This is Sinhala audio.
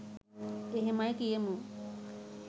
එහෙමයි කියමු